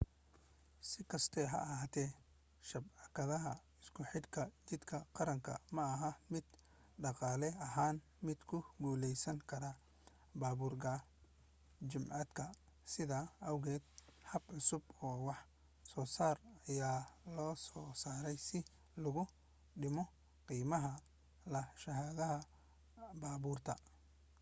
sikasta ha ahaatee shabakadda isku xidhka jidka qaranku maaha mid dhaqaale ahaan mid ku guulaysankara baabuur gacmeedka sidaa awgeed habab cusub oo wax soosaar ayaa lasoo saaray si loogu dhimo qiimaha lahaanshaha baabuurta